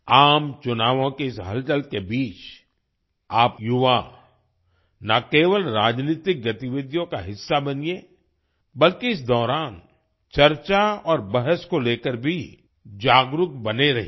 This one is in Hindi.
आम चुनावों की इस हलचल के बीच आप युवा ना केवल राजनीतिक गतिविधियों का हिस्सा बनिए बल्कि इस दौरान चर्चा और बहस को लेकर भी जागरूक बने रहिए